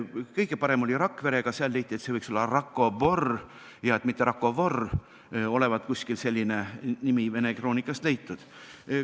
Kõige parem oli Rakverega – leiti, et see võiks olla Rakobor ja mitte Rakovor, olevat selline nimi kuskilt vene kroonikast leitud.